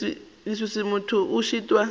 la leswiswi motho a šitwa